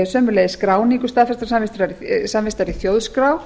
sömuleiðis skráningu staðfestrar samvistar í þjóðskrá